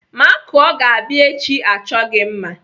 Makụọ ga-abịa echi achọ gị mma.